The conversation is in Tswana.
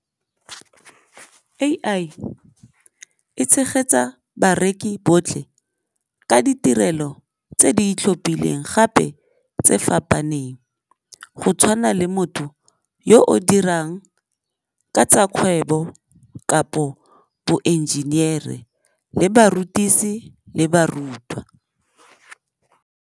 A_I e tshegetsa bareki botlhe ka ditirelo tse di itlhophileng gape tse fapaneng go tshwana le motho yo o dirang ka tsa kgwebo kapo boenjiniere le barutisi le barutwa.